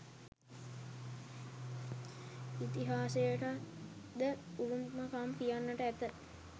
ඉතිහාසයටද උරුම කම් කියන්නට ඇත